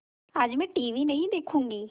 आज मैं टीवी नहीं देखूँगी